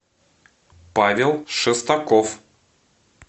павел шестаков